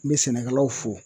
N be sɛnɛkɛlaw fo